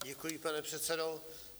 Děkuji, pane předsedo.